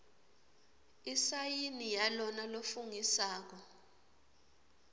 isayini yalona lofungisako